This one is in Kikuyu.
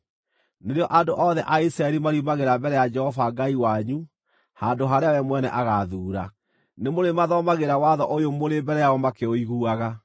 nĩrĩo andũ othe a Isiraeli mariumagĩra mbere ya Jehova Ngai wanyu handũ harĩa we mwene agaathuura, nĩmũrĩmathomagĩra watho ũyũ mũrĩ mbere yao makĩiguaga.